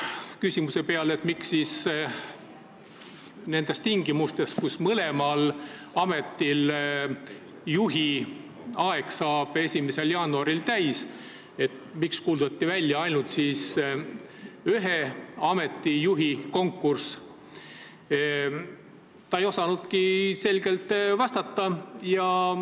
Küsimuse peale, miks nendes tingimustes, kui mõlema asutuse juhi ametiaeg saab 1. jaanuaril täis, kuulutati välja ainult ühe asutuse juhi konkurss, ei osanudki minister selgelt vastata.